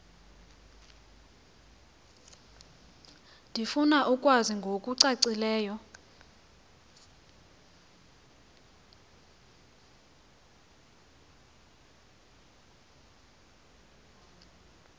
ndifuna ukwazi ngokucacileyo